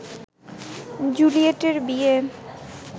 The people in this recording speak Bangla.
জুলিয়েটের বিয়ে